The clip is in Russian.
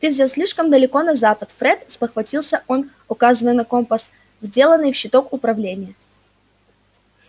ты взял слишком далеко на запад фред спохватился он указывая на компас вделанный в щиток управления